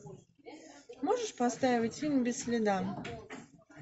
можешь поставить фильм без следа